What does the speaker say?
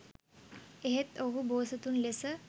එහෙත් ඔවුහු බෝසතුන් ලෙස